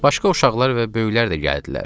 Başqa uşaqlar və böyüklər də gəldilər.